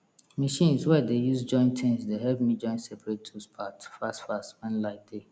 machines wey i dey use join tings dey help me join seprate tools part fast fast wen light dey